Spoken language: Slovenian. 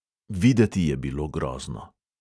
Videti je bilo grozno.